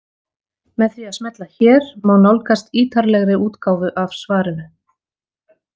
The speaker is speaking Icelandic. Með því að smella hér má nálgast ítarlegri útgáfu af svarinu.